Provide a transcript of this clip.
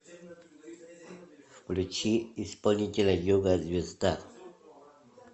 включи исполнителя йога звезда